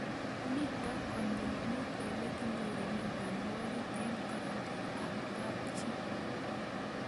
Mito konyil mut ole kinyorune mionwek eng' karatik ab kapchii